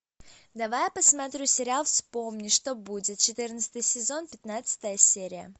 давай я посмотрю сериал вспомни что будет четырнадцатый сезон пятнадцатая серия